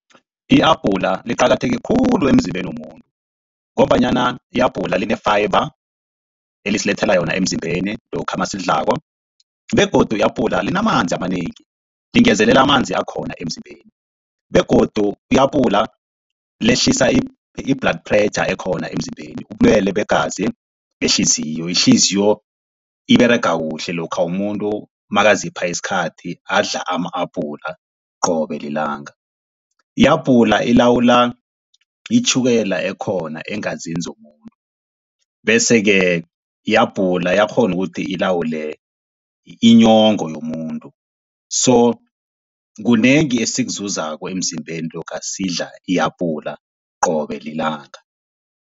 Ihabhula liqakatheke khulu emzimbeni womuntu, ngombanyana ihabhula line-fiber elisilethela yona emzimbeni lokha nasilidlako begodu i-apula linamanzi amanengi, lingezelela amanzi akhona emzimbeni. Begodu i-apula lehlisa i-blood pressure ekhona emzimbeni ubulwele begazi, behliziyo, ihliziyo iberega kuhle lokha umuntu makazipha isikhathi adla ama-apula qobe lilanga. Ihabhula lilawula itjhukela ekhona eengazini zomuntu, bese-ke ihabhula liyakghona ukuthi lilawule inyongo yomuntu. So kunengi esikuzuzako emzimbeni lokha sidla ihabhula qobe lilanga.